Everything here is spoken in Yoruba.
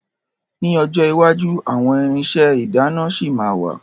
Ní ọjọ́ iwájú àwọn irinṣẹ́ ìdáná ṣì ma wà.